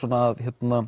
að